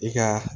I ka